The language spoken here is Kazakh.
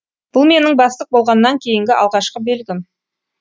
бұл менің бастық болғаннан кейінгі алғашқы белгім